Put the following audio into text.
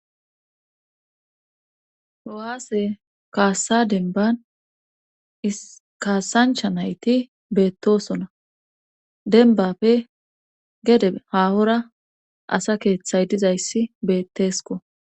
Ho'aase kaassa denban ikaasancha nayti beettosona denbappe gede haahora asa keeththay dizayssi beettesko